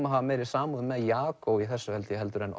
að hafa meiri samúð með Jagó í þessu held ég heldur en